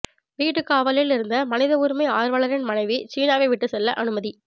வீட்டுக்காவலில் இருந்த மனித உரிமை ஆர்வலரின் மனைவி சீனாவை விட்டு செல்ல அனுமதி